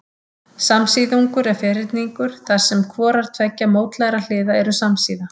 Samsíðungur er ferhyrningur þar sem hvorar tveggja mótlægra hliða eru samsíða.